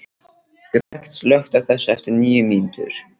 Gret, slökktu á þessu eftir níu mínútur.